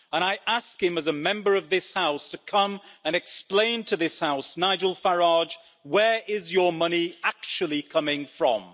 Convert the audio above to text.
And I ask him as a Member of this House to come and explain to this House Nigel Farage, where is your money actually coming from?